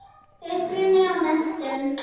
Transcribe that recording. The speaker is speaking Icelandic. Uppruni og menntun